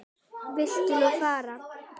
Viltu nú fara!